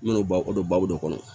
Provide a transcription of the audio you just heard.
N bɛna o don babu kɔnɔ